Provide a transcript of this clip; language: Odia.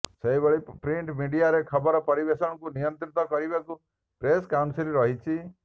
ସେହିଭଳି ପ୍ରିଣ୍ଟ ମିଡିଆରେ ଖବର ପରିବେଷଣକୁ ନିୟନ୍ତ୍ରଣ କରିବାକୁ ପ୍ରେସ କାଉନସିଲ ରହିଛି